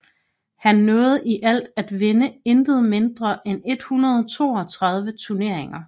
Han nåede i alt at vinde intet mindre end 132 turneringer